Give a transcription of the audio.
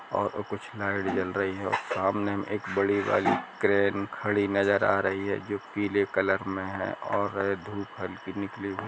ओ ओ कुछ लाइट जल रही है सामने एक बड़ी वाली क्रेन खड़ी नजर आ रही है जो पीले कलर मे है और धूप हल्की निकली हुई--